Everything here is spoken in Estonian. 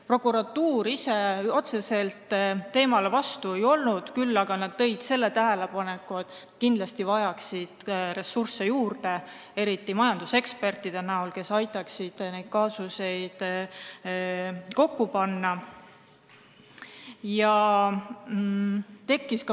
Prokuratuur otseselt vastu ei olnud, küll aga esitasid nad tähelepaneku, et kindlasti vajaksid nad juurde ressursse, eriti majanduseksperte, kes aitaksid neid kaasusi kokku panna.